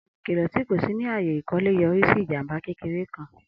Ami ikilọ ti ko tọ si ni aaye ikole yori si ijamba kekere kan.